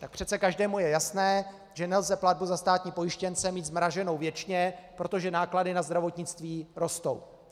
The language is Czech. Tak přece každému je jasné, že nelze platbu za státní pojištěnce mít zmrazenou věčně, protože náklady na zdravotnictví rostou.